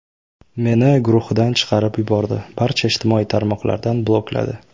Meni guruhidan chiqarib yubordi, barcha ijtimoiy tarmoqlardan blokladi.